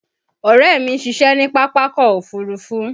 Ọ̀rẹ́ mi ń ṣiṣẹ́ ní Pápákọ̀ Òfurufú